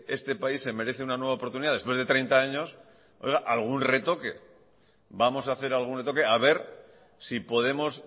este país se merece una nueva oportunidad después de treinta años oiga algún retoque vamos a hacer algún retoque a ver si podemos